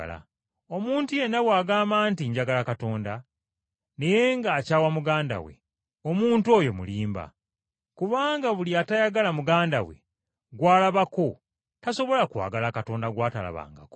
Omuntu yenna bw’agamba nti, “Njagala Katonda,” naye n’akyawa muganda we, omuntu oyo mulimba. Kubanga buli atayagala muganda we gw’alabako, tasobola kwagala Katonda gw’atalabangako.